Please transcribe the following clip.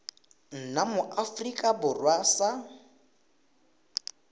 nna mo aforika borwa sa